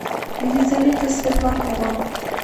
елизавета светлакова